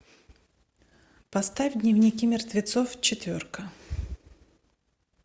поставь дневники мертвецов четверка